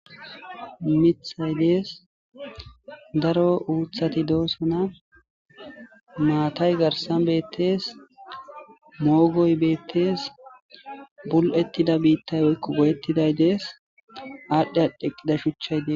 mithay dees daro uuthati doosona maatay garsan beettees moogoy beettees bul7ettida biittay woykko goyettiday dees aadhdhe adhdheqqida shuchchay dees